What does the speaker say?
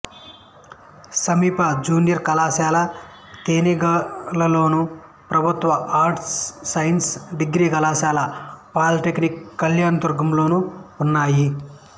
సమీప జూనియర్ కళాశాల తేనెగల్లులోను ప్రభుత్వ ఆర్ట్స్ సైన్స్ డిగ్రీ కళాశాల పాలీటెక్నిక్ కళ్యాణదుర్గంలోనూ ఉన్నాయి